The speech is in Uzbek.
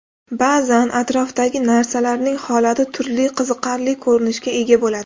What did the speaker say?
Ba’zan atrofdagi narsalarning holati turli qiziqarli ko‘rinishga ega bo‘ladi.